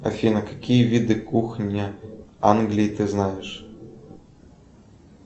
афина какие виды кухни англии ты знаешь